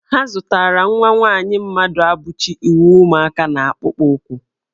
Ha zụtara nwa nwaanyị Mmaduabuchi uwe ụmụaka na akpụkpọụkwụ.